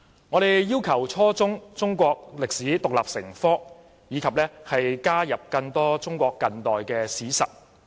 我們要求初中中史獨立成科，以及加入更多中國近代史實。